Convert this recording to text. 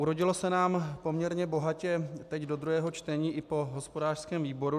Urodilo se nám poměrně bohatě teď do druhého čtení i po hospodářském výboru.